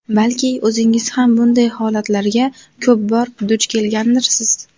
Balki o‘zingiz ham bunday holatlarga ko‘p bor duch kelgandirsiz?